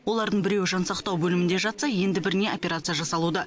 олардың біреуі жансақтау бөлімінде жатса енді біріне операция жасалуда